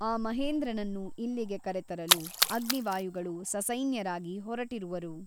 ಆ ಮಹೇಂದ್ರನನ್ನು ಇಲ್ಲಿಗೆ ಕರೆತರಲು ಅಗ್ನಿವಾಯುಗಳು ಸಸೈನ್ಯರಾಗಿ ಹೊರಟಿರುವರು.